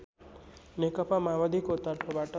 नेकपा माओवादीको तर्फबाट